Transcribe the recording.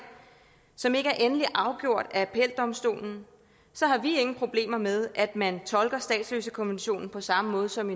som ikke er endelig afgjort af appeldomstolen har vi ingen problemer med at man tolker statsløsekonventionen på samme måde som